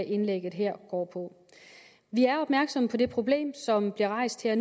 indlægget her går på vi er opmærksomme på det problem som nu bliver rejst her